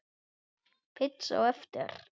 Pizza á eftir.